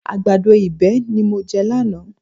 Àgbàdo ìbéèni ni mo jẹ lánàá